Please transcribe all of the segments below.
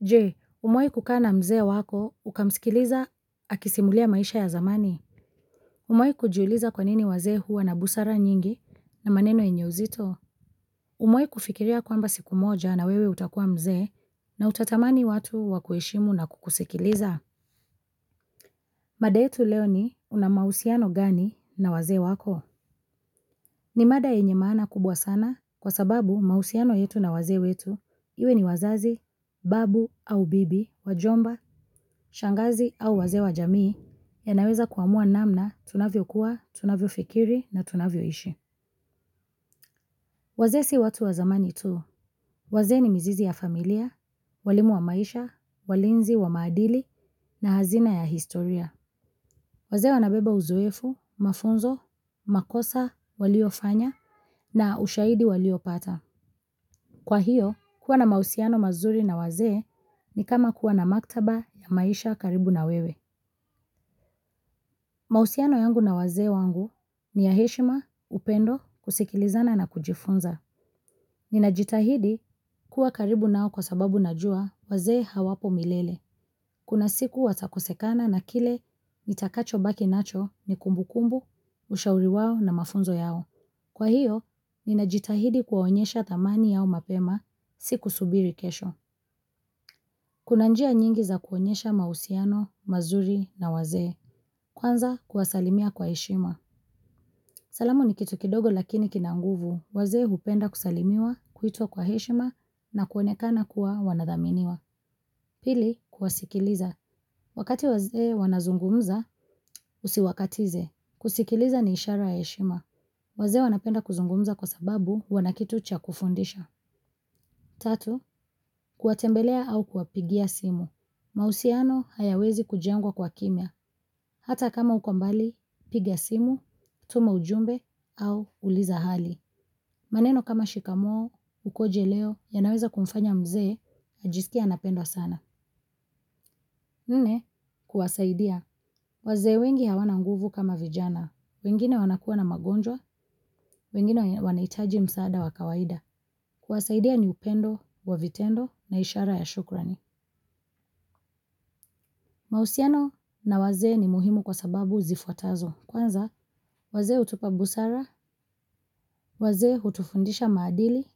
Je umewahi kukaa na mzee wako ukamsikiliza akisimulia maisha ya zamani. Umewahi kujiuliza kwanini wazee huwa na busara nyingi na maneno yenye uzito. Umewahi kufikiria kwamba siku moja na wewe utakua mzee na utatamani watu wakuheshimu na kukusikiliza. Mada yetu leo ni una mahusiano gani na wazee wako. Ni mada yenye maana kubwa sana kwa sababu mahusiano yetu na wazee wetu, iwe ni wazazi, babu au bibi, wajomba, shangazi au wazee wa jamii yanaweza kuamua namna tunavyokuwa, tunavyofikiri na tunavyoishi. Wazee si watu wa zamani tu, wazee ni mzizi ya familia, walimu wa maisha, walinzi wa maadili na hazina ya historia. Wazee wanabeba uzoefu, mafunzo, makosa waliofanya na ushahidi waliopata. Kwa hiyo, kuwa na mahusiano mazuri na wazee ni kama kuwa na maktaba ya maisha karibu na wewe. Mahusiano yangu na wazee wangu ni ya heshima, upendo, kusikilizana na kujifunza. Ninajitahidi kuwa karibu nao kwa sababu najua wazee hawapo milele. Kuna siku watakusekana na kile nitakacho baki nacho ni kumbu kumbu, ushauri wao na mafunzo yao. Kwa hiyo, ninajitahidi kuwaonyesha thamani yao mapema, si kusubiri kesho. Kuna njia nyingi za kuonyesha mahusiano, mazuri na waze. Kwanza, kuwasalimia kwa heshima. Salamu ni kitu kidogo lakini kina nguvu, wazee hupenda kusalimiwa, kuitwa kwa heshima na kuonekana kuwa wanathaminiwa. Pili, kuwasikiliza. Wakati wazee wanazungumza, usiwakatize. Kusikiliza ni ishara ya eshima. Wazee wanapenda kuzungumza kwa sababu wana kitu cha kufundisha. Tatu, kuwatembelea au kuwapigia simu. Mahusiano hayawezi kujengwa kwa kimya. Hata kama uko mbali, piga simu, tuma ujumbe au uliza hali. Maneno kama shikamoo, ukoje leo, yanaweza kumfanya mzee, ajisikie anapendwa sana. Nne, kuwasaidia. Wazee wengi hawana nguvu kama vijana. Wengine wanakuwa na magonjwa, wengine wanahitaji msaada wa kawaida. Kuwasaidia ni upendo, wa vitendo, na ishara ya shukrani. Mahusiano na wazee ni muhimu kwa sababu zifuatazo. Kwanza, wazee hutupa busara, wazee utufundisha maadili,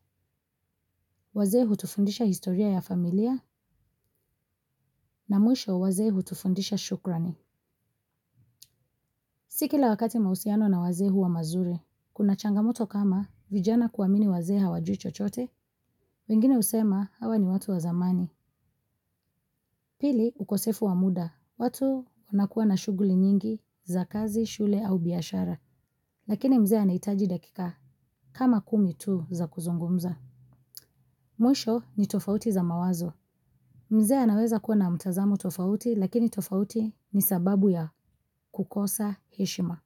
wazee hutufundisha historia ya familia na mwisho wazee hutufundisha shukrani. Si kila wakati mahusiano na wazee hua mazuri, kuna changamoto kama vijana kuamini wazee hawajui chochote, wengine husema hawa ni watu wa zamani. Pili ukosefu wa muda, watu wanakuwa na shughuli nyingi za kazi, shule au biashara. Lakini mzee anahitaji dakika kama kumi tu za kuzungumza. Mwisho ni tofauti za mawazo. Mzee anaweza kuwa na mtazamo tofauti lakini tofauti ni sababu ya kukosa heshima.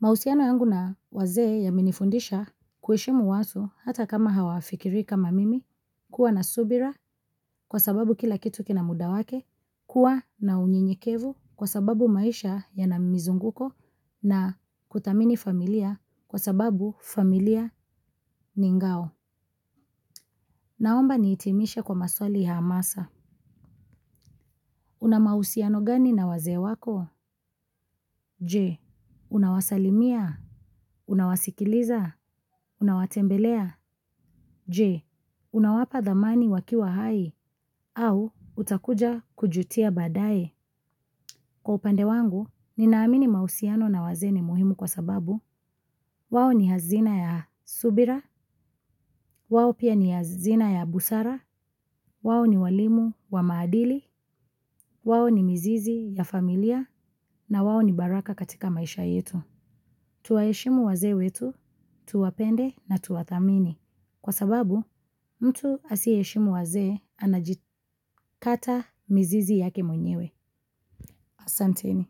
Mahusiano yangu na wazee yamenifundisha kuheshimu watu hata kama hawafikirii kama mimi kuwa na subira kwa sababu kila kitu kina muda wake kuwa na unyenyekevu kwa sababu maisha ya na mizunguko na kuthamini familia kwa sababu familia ni ngao. Naomba nihitimishe kwa maswali ya hamasa. Una mahusiano gani na wazee wako? Je, unawasalimia? Unawasikiliza? Unawatembelea? Je, unawapa thamani wakiwa hai au utakuja kujutia baadaye. Kwa upande wangu, ninaamini mahusiano na wazee ni muhimu kwa sababu. Wao ni hazina ya subira, wao pia ni hazina ya busara, wao ni walimu wa maadili, wao ni mizizi ya familia, na wao ni baraka katika maisha yetu. Tuwaheshimu wazee wetu, tuwapende na tuwathamini. Kwa sababu, mtu asiheshimu wazee, anajikata mizizi yake mwenyewe. Asanteni.